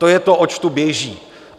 To je to, oč tu běží.